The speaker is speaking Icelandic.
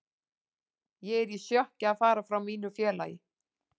Ég er í sjokki að fara frá mínu félagi.